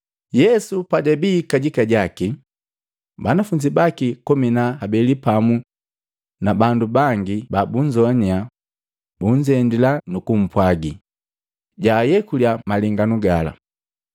Yesu pajabii kajika jaki, banafunzi baki komi na habeli pamu na bandu bangi babunzoanya bunzendila nukupwagi jaayekulya malenganu gala.